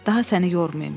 Daha səni yormayım.